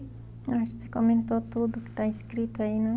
Acho que você comentou tudo que está escrito aí, não?